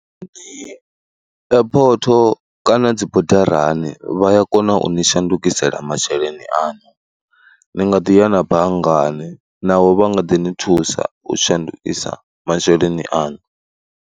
Airport kana dzibodarani vha ya kona u ni shandukisela masheleni aṋu, ni nga ḓi ya na banngani naho vha nga ḓi ni thusa u shandukisa masheleni aṋu.